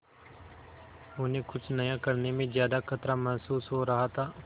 उन्हें कुछ नया करने में ज्यादा खतरा महसूस हो रहा था